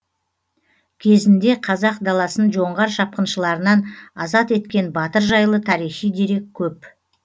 кезінде қазақ даласын жоңғар шапқыншыларынан азат еткен батыр жайлы тарихи дерек көп